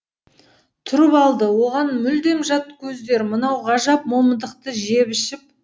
тұрып алды оған мүлдем жат көздер мынау ғажап момындықты жеп ішіп